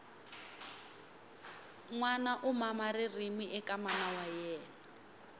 nwana u mama ririmi eka mana wa yemna